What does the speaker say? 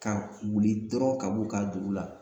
Ka wuli dɔrɔn ka b'u ka dugu la